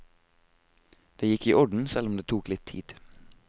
Det gikk i orden selv om det tok litt tid.